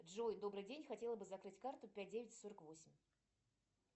джой добрый день хотела бы закрыть карту пять девять сорок восемь